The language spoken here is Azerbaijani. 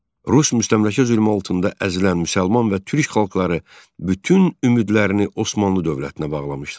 Rus müstəmləkə zülmü altında əzilən müsəlman və Türk xalqları bütün ümidlərini Osmanlı dövlətinə bağlamışdılar.